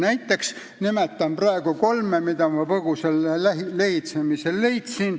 Näiteks nimetan ma praegu kolme, mille ma põgusal lehitsemisel leidsin.